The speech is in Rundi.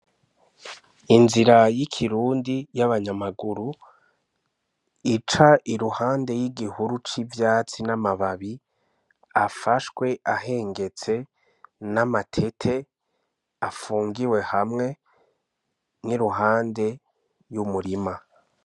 Inzira y'ikirundi y'abanyamaguru ica iruhande y'igihuru c'ivyatsi n'amababi afashwe ahengetse n'amatete afungiwe hamwe n'iruhande y'umurima.